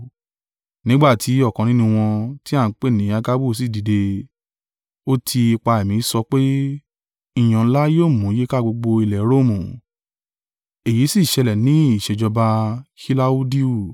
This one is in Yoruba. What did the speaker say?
Nígbà tí ọ̀kan nínú wọn, ti a ń pè ni Agabu sí dìde, ó ti ipa Ẹ̀mí sọ pé, ìyàn ńlá yóò mú yíká gbogbo ilẹ̀ Romu. (Èyí sì ṣẹlẹ̀ nígbà ìṣèjọba Kilaudiu.)